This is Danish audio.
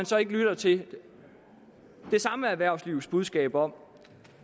så lytter til det samme erhvervslivs budskab om